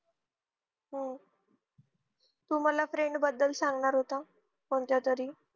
हम्म तू मला friend बदल सांगणार होता कोणत्या तरी